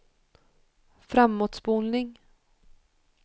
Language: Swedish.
framåtspolning